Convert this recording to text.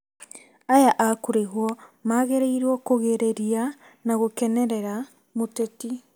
Aya a kũrĩhwo magĩrĩirwo kugĩrĩria na gũkenerera mũteti